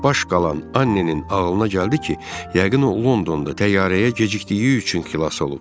Çaşbaş qalan Annenin ağlına gəldi ki, yəqin o Londonda təyyarəyə gecikdiyi üçün xilas olub.